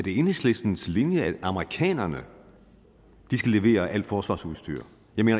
enhedslistens linje at amerikanerne skal levere alt forsvarsudstyr